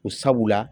Ko sabula